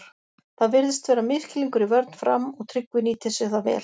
Það virðist vera misskilningur í vörn Fram og Tryggvi nýtir sér það vel!